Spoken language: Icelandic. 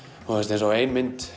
eins og ein mynd